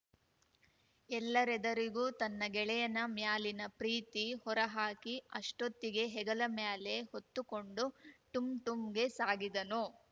ಎಲ್ಲರೆದರಿಗೂ ತನ್ನ ಗೆಳೆಯನ ಮ್ಯಾಲಿನ ಪ್ರೀತಿ ಹೊರಹಾಕಿ ಅಷ್ಟೊತ್ತಿಗೆ ಹೆಗಲ ಮ್ಯಾಲೆ ಹೊತ್ತುಕೊಂಡು ಟುಂಟುಂ ಗೆ ಸಾಗಿದನು